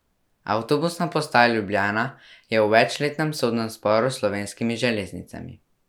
Avtobusna postaja Ljubljana je v večletnem sodnem sporu s Slovenskimi železnicami.